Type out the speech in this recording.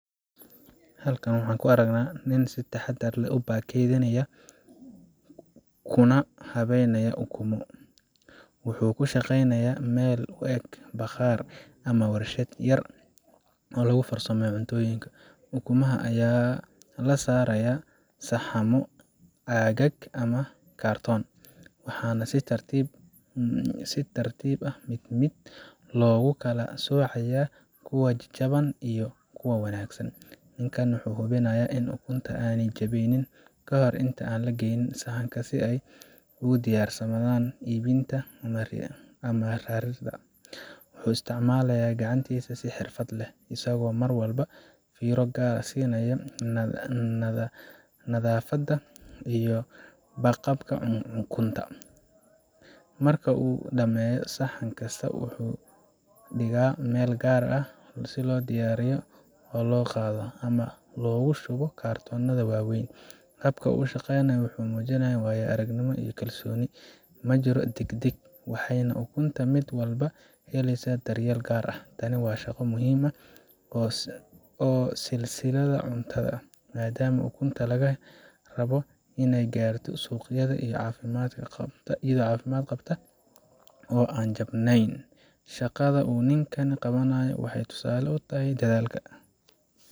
Halkan waxaan ku aragnaa nin si taxadar leh u baakadeeynaya kuna habeynaya ukunno. Wuxuu ku shaqeynayaa meel u eg bakhaar ama warshad yar oo lagu farsameeyo cuntooyinka. Ukumaha ayaa la saarayaa saxammo caag ah ama kartoon ah, waxaana si tartiib ah mid mid loogu kala soocayaa kuwa jajaban iyo kuwo wanaagsan. Ninkan wuxuu hubinayaa in ukunta aanay jabnayn kahor inta aan la gelin saxanka, si ay ugu diyaarsanaadaan iibinta ama raridda. Wuxuu isticmaalayaa gacantisa si xirfad leh, isagoo mar walba fiiro gaar ah siinaya nadaafadda iyo badqabka ukunta. Marka uu dhammeeyo saxan kasta, wuxuu dhigaa meel gaar ah oo loo diyaariyo si loo qaado ama loogu shubo kartoonnada waaweyn. Habka uu u shaqeynayo wuxuu muujinayaa waayo-aragnimo iyo kalsooni ma jiro deg deg, waxayna ukunta mid walba helaysaa daryeel gaar ah. Tani waa shaqo muhiim u ah silsiladda cuntada, maadaama ukunta laga rabo inay gaarto suuqyada iyadoo caafimaad qabta oo aan jabnayn. Shaqada uu ninkani qabanayo waxay tusaale u tahay dadaalka